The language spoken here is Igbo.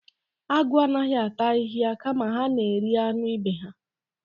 Agụ anaghị ata ahịhịa kama ha na-eri anụ ibe ha.